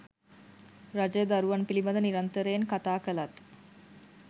රජය දරුවන් පිළිබඳ නිරන්තරයෙන් කතා කළත්